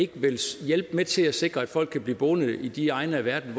ikke vil hjælpe med til at sikre at folk kan blive boende i de egne af verden